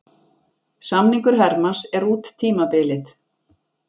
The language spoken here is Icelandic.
Samningur Hermanns er út tímabilið.